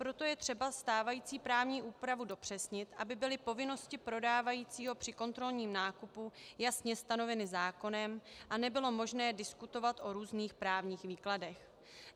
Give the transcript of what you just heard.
Proto je třeba stávající právní úpravu dopřesnit, aby byly povinnosti prodávajícího při kontrolním nákupu jasně stanoveny zákonem a nebylo možné diskutovat o různých právních výkladech.